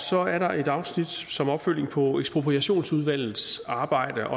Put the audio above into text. så er der et afsnit som opfølgning på ekspropriationsudvalgets arbejde